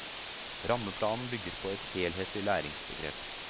Rammeplanen bygger på et helhetlig læringsbegrep.